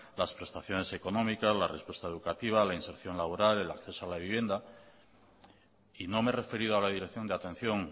las prestaciones económicas la respuesta educativa la inserción laboral el acceso a la vivienda y no me he referido a la dirección de atención